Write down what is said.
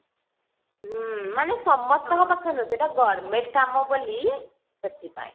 ହଁ ମାନେ ସମସ୍ତଙ୍କ ପାଖରେ ନୁହଁ ସେଟା government କାମ ବୋଲି ସେଥିପାଇଁ